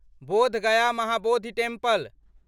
Bodh Gaya Mahabodhi temple